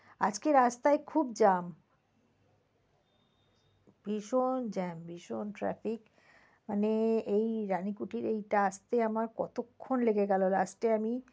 আজকে রাস্তায় খুব jam ভীষণ jam ভীষণ traffic মানে এই রানিকুটি এইটা আসতে আমার কতক্ষণ লেগে গেলো last এ আমি coke oven এর কাছে নেমে গেলাম।